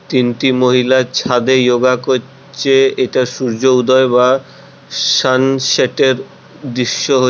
তিনটি মহিলার ছাদে ইয়োগা করছে এটা সূর্য উদয় বা সানসেট এর দৃশ্য।